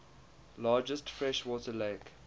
largest freshwater lake